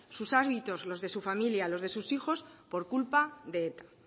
sus hábitos las de su familia los de sus hijos por culpa de eta